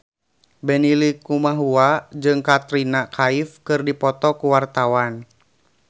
Benny Likumahua jeung Katrina Kaif keur dipoto ku wartawan